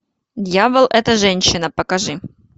дьявол это женщина покажи